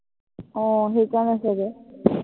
আহ আহ সেইকাৰনে চাগে